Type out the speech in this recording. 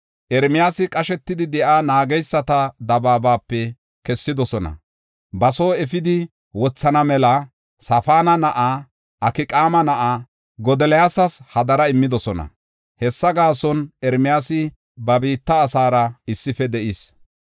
Ermiyaasa qashetidi de7iya, naageysata dabaabape kessidosona. Ba soo efidi wothana mela Safaana na7aa, Akqaama na7aa Godoliyas hadara immidosona. Hessa gaason, Ermiyaasi ba biitta asaara issife de7is.